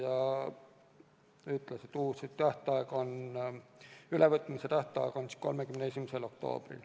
Ta ütles, et uus ülevõtmise tähtaeg on 31. oktoobril.